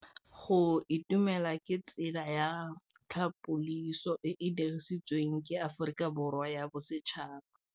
Go itumela ke tsela ya tlhapolisô e e dirisitsweng ke Aforika Borwa ya Bosetšhaba.